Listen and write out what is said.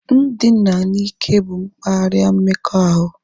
Ndina n'ike bụ mkparịa mmekọahụ